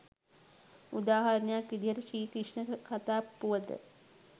උදාහරණයක් විදිහට ශ්‍රී ක්‍රිෂ්ණ කථා පුවත